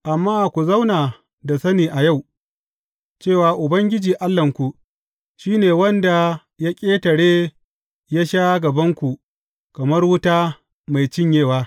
Amma ku zauna da sani a yau, cewa Ubangiji Allahnku, shi ne wanda ya ƙetare ya sha gabanku kamar wuta mai cinyewa.